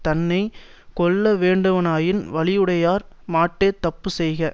தன்னை கொல்ல வேண்டுவனாயின் வலியுடையார் மாட்டே தப்பு செய்க